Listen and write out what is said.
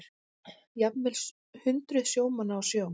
Jafnvel hundruð sjómanna á sjó